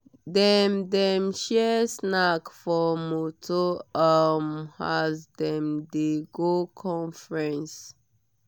dem dem share snack for motor um as dem dey go conference.